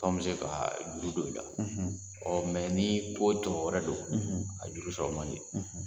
K'anw bɛ se ka juru don i la ɔ ni ko tɔ wɛrɛ don a juru sɔrɔ man di